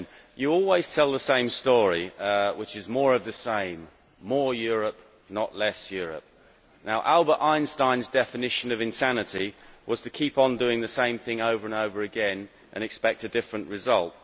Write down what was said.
You always tell the same story which is more of the same more Europe, not less Europe. Albert Einstein's definition of insanity was to keep on doing the same thing over and over again and expect a different result.